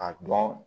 A dɔn